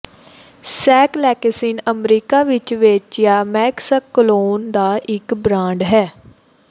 ਸਕੈਲੈਕਸਿਨ America ਵਿੱਚ ਵੇਚਿਆ metaxalone ਦਾ ਇੱਕੋ ਇੱਕ ਬ੍ਰਾਂਡ ਹੈ